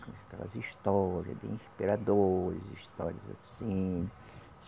Aquelas história de imperadores, histórias assim.